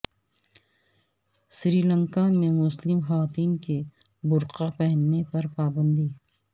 سری لنکا میں مسلم خواتین کے برقع پہننے پر پابندی